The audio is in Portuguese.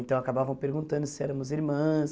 Então, acabavam perguntando se éramos irmãs.